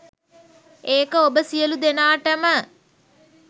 ඒක ඔබ සියලු දෙනාටම